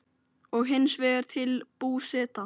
og hins vegar til Búseta.